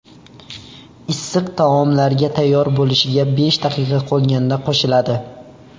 Issiq taomlarga tayyor bo‘lishiga besh daqiqa qolganda qo‘shiladi.